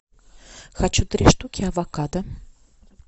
хочу три штуки авокадо